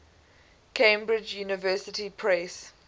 cambridge university press